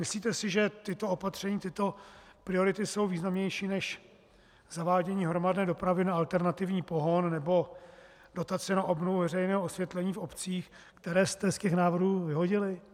Myslíte si, že tato opatření, tyto priority jsou významnější než zavádění hromadné dopravy na alternativní pohon nebo dotace na obnovu veřejného osvětlení v obcích - které jste z těch návrhů vyhodili?